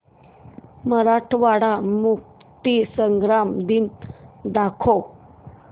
मराठवाडा मुक्तीसंग्राम दिन दाखव